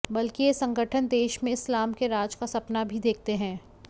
बल्कि ये संगठन देश में इस्लाम के राज का सपना भी देखते हैं